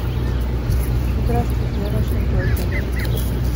здравствуйте я ваша тетя найти